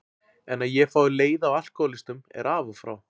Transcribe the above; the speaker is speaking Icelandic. En að ég fái leiða á alkohólistum er af og frá.